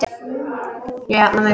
Ég jafna mig.